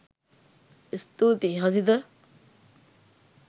ස්තුතියි හසිත.